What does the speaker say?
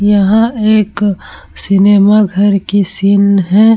यह एक सिनेमा घर की सीन है ।